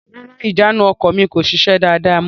Rárá, ìjánu ọkọ̀ mi kò sise dáàda mọ.